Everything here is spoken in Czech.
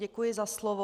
Děkuji za slovo.